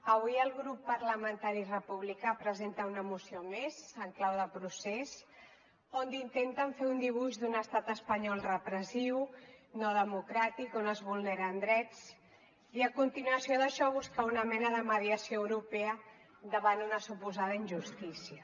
avui el grup parlamentari republicà presenta una moció més en clau de procés on intenten fer un dibuix d’un estat espanyol repressiu no democràtic on es vulneren drets i a continuació d’això buscar una mena de mediació europea davant una suposada injustícia